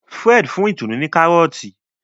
Fred fún Itunu ní Kárọ́ọ̀tì